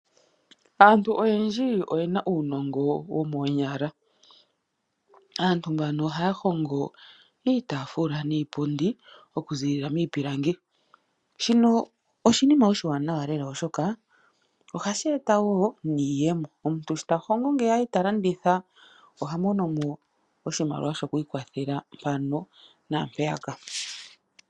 Aantu oyendji oyena uunongo womoonyala ,Aantu mbano ohay hongo iitafula niipundi oku ziilila miipilangi. Shino oshinima oshiwanawa lela oshoka ohashi eta woo niiyemo. Omuntu shi talongo ngeya eta landitha ohamonomo oshimaliwa shoku ikwathela mpaka naampeyaka.